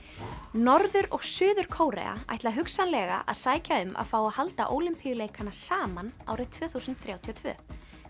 norður og Suður Kórea ætla hugsanlega að sækja um að fá að halda Ólympíuleikana saman árið tvö þúsund þrjátíu og tvö